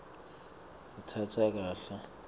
ngitsakase